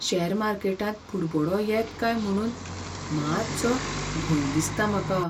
Share मार्केटांत बुडबुडो येत काय म्हुणून मातसो भंय दिसता म्हाका.